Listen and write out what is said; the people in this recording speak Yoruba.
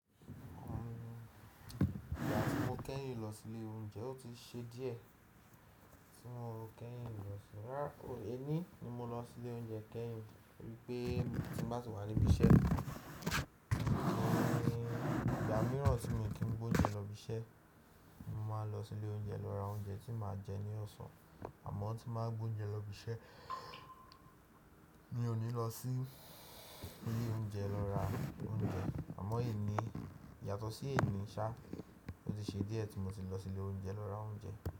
Ìgbà tí mo kẹ́yìn lọ sí ilé oúnjẹ ó ti ṣe díẹ̀ tí mo kẹ́yìn lọ sínú rárá èní ni mo lọ sí'lé oúnjẹ kẹ́yìn torí pé tí mo bá ti wà níbí iṣẹ́, ìgbà mìíràn tí mi kì í gbé oúnjẹ lọ ibiṣẹ́, mo máa ń lọ sí'lé oúnjẹ lọ ra oúnjẹ tí màá jẹ ní ọ̀sán àmọ́ tí máa ń gbé oúnjẹ lọ ibiṣẹ́ mi ò ní lọ sí ilé oúnjẹ lọ ra oúnjẹ àmọ́ èyí ní yàtọ̀ sí èní ṣá ti ṣe díẹ̀ tí mo ti lọ sí ilé oúnjẹ lọ ra oúnjẹ.